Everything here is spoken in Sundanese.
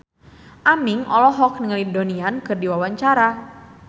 Aming olohok ningali Donnie Yan keur diwawancara